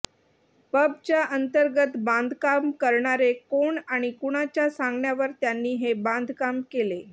पबच्या अंतर्गत बांधकाम करणारे कोण आणि कुणाच्या सांगण्यावर त्यांनी हे बांधकाम केले